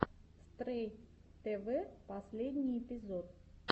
стрэй тэвэ последний эпизод